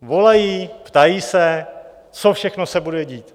Volají, ptají se, co všechno se bude dít.